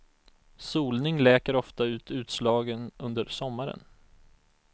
Solning läker ofta ut utslagen under sommaren.